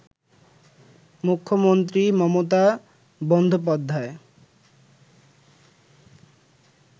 মূখ্য মন্ত্রী মমতা বন্দোপাধ্যায়